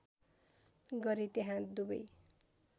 गरे त्यहाँ दुबै